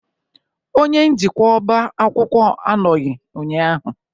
Onye njikwa ọba akwụkwọ anọghị ụnyahụ?